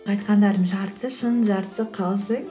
айтқандарымның жартысы шын жартысы қалжың